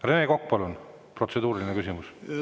Rene Kokk, palun, protseduuriline küsimus!